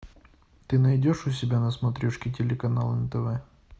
ты найдешь у себя на смотрешке телеканал нтв